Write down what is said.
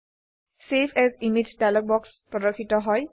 save as image dialogue বাক্স প্রর্দশিত হয়